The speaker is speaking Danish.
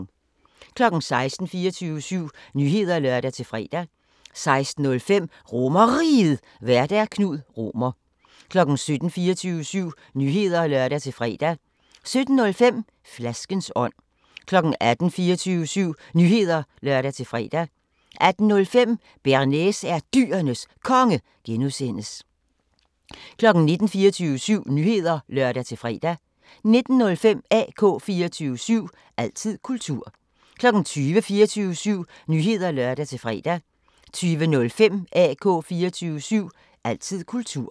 16:00: 24syv Nyheder (lør-fre) 16:05: RomerRiget, Vært: Knud Romer 17:00: 24syv Nyheder (lør-fre) 17:05: Flaskens ånd 18:00: 24syv Nyheder (lør-fre) 18:05: Bearnaise er Dyrenes Konge (G) 19:00: 24syv Nyheder (lør-fre) 19:05: AK 24syv – altid kultur 20:00: 24syv Nyheder (lør-fre) 20:05: AK 24syv – altid kultur